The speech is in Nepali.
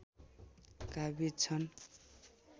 काबिज छन्